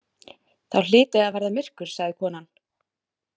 Þá hlyti að verða myrkur, sagði konan.